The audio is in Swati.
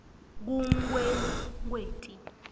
kunkwekweti